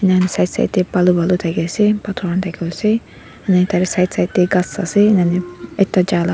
side side tae balu thaki ase pathor thaki ase enika side side ts ghas ase enika ekta jaka.